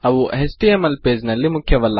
ಅವು HTML page ನಲ್ಲಿ ಮುಖ್ಯವಲ್ಲ